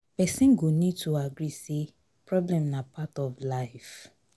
Person go need to agree say problem na part of life